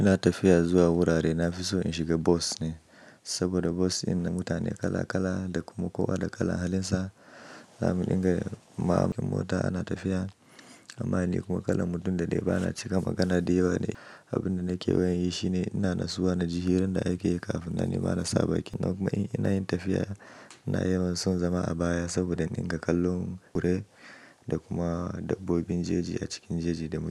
Ina tafiya zuwa wurare, na fi so in shiga bas ne. Saboda bas in na mutane kala kala da kuma kowa da kalan halinsa. Zamu inga mamakin mota ana tafiya amma ni kuma kalan mutum da dai bana cika magana da yawa ne. Abin da nake waye yi shine ina nasuwa na ji hirar da ake yi kafin nan nima na sa baki. Ki nawa kuma in nayi tafiya, ina yawan son zama a baya saboda in dinga kallon wurare da kuma dabbobin jeji a cikin jeji da mota.